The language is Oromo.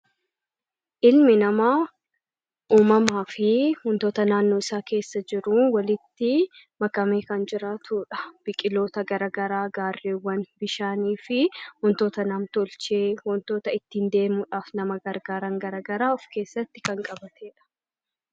Ilmi namaa uumamaa fi wantoota naannoo isaa keessa jiru walitti makamee kan jiraatudha. Biqiloota gara garaa, gaarreewwan, bishaanii fi wantoota namtolchee wantoota ittiin deemuudhaaf nama gargaaran gara garaa of keessatti kan qabatedha.